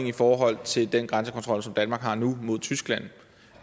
i forhold til den grænsekontrol som danmark har nu mod tyskland